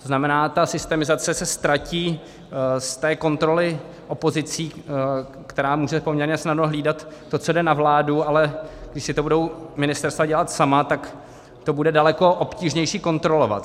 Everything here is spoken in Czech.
To znamená, ta systemizace se ztratí z té kontroly opozicí, která může poměrně snadno hlídat to, co jde na vládu, ale když si to budou ministerstva dělat sama, tak to bude daleko obtížnější kontrolovat.